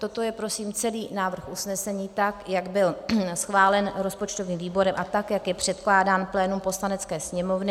Toto je prosím celý návrh usnesení, tak jak byl schválen rozpočtovým výborem a tak jak je předkládám plénu Poslanecké sněmovny.